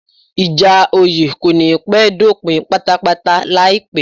Ìjà oyè kò ní pẹ́ dópin pátápátáláìpẹ́